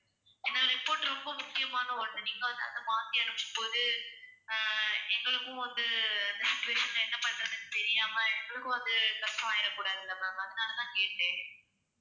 ஏன்னா report ரொம்ப முக்கியமான ஒண்ணு நீங்க வந்து அதை மாத்தி அனுப்பும் போது அஹ் எங்களுக்கும் வந்து அந்த situation ல என்ன பண்றதுன்னு தெரியாம எங்களுக்கும் வந்து tough ஆகிட கூடாது இல்ல ma'am அதனால தான் கேட்டேன்